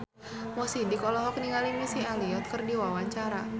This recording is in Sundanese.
Mo Sidik olohok ningali Missy Elliott keur diwawancara